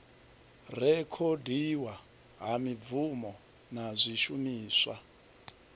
rekhodiwa ha mibvumo na zwishumiswa